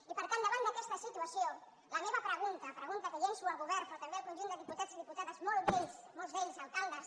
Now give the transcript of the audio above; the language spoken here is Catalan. i per tant davant d’aquesta situació la meva pregunta pregunta que llanço al govern però també al conjunt de diputats i diputades molts d’ells alcaldes